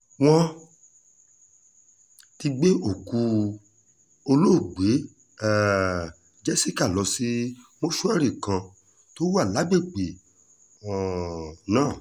wọ́n ti gbé òkú olóògbé um jessica lọ sí mọ́ṣúárì kan tó wà lágbègbè um náà